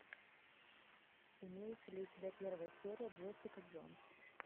имеется ли у тебя первая серия джессика джонс